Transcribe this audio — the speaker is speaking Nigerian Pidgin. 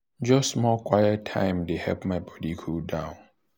just small quiet time dey help my body cool down.